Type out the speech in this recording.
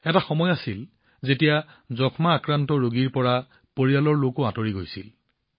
এটা সময় আছিল যেতিয়া যক্ষ্মা ৰোগৰ কথা শুনিলেই পৰিয়ালৰ মানুহ দূৰত অৱস্থান কৰিছিল